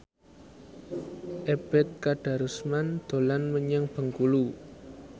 Ebet Kadarusman dolan menyang Bengkulu